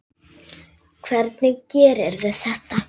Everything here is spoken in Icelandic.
Hvernig gerirðu þetta?